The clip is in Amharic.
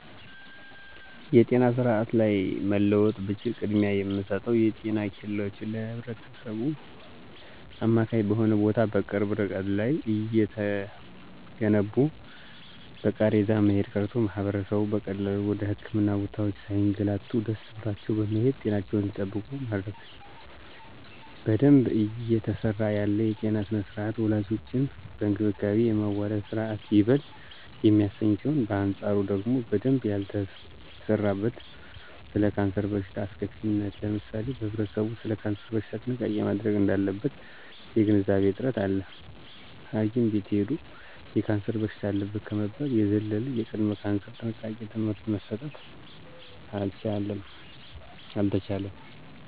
የጤና ስርአት ላይ መለወጥ ብችል ቅድሚያ የምለወጠው የጤና ኬላወችን ለህብረተሰቡ አማካኝ በሆነ ቦታ በቅርብ እርቀት ላይ እየገነቡ በቃሬዛ መሄድ ቀርቶ ማህበረሰቡ በቀላሉ ወደ ህክምና ቦታወች ሳይገላቱ ደሰ ብሏቸው በመሄድ ጤናቸውን እንዲጠብቁ ማድረግ። በደንብ እየተሰራ ያለ የጤና ስርአት ወላዶችን በእንክብካቤ የማዋለድ ስርአት ይበል የሚያሰኝ ሲሆን በአንጻሩ ደግሞ በደንብ ያልተሰራበት ስለ ካንሰር በሽታ አስከፊነት ለምሳሌ ህብረተሰቡ ሰለ ካንሰር በሽታ ጥንቃቄ ማድረግ እዳለበት የግንዛቤ እጥረት አለ ሀኪም ቤት ሂዶ የካንሰር በሽታ አለብህ ከመባል የዘለለ የቅድመ ካንሰር ጥንቃቄ ትምህርት መሰጠት አልተቻለም።